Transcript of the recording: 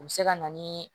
U bɛ se ka na ni